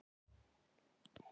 Ó, jú.